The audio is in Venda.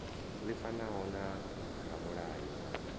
ḽi fanaho na ramulayo wa